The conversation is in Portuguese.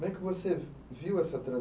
Como é que você viu essa